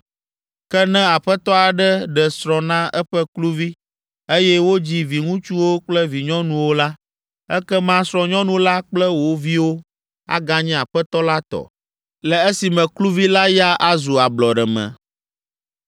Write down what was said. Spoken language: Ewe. Ke ne aƒetɔ aɖe ɖe srɔ̃ na eƒe kluvi, eye wodzi viŋutsuwo kple vinyɔnuwo la, ekema srɔ̃nyɔnu la kple wo viwo aganye aƒetɔ la tɔ, le esime kluvi la ya azu ablɔɖeme.